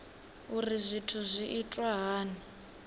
uri zwithu zwi itwa hani